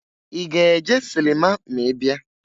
I ga-eje silima ma ị bịa?